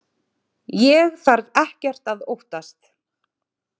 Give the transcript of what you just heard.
Ég þarf ekkert að óttast.